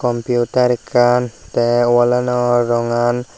computer ekkan tay walano rongan.